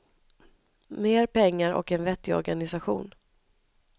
Mer pengar och en vettig organisation.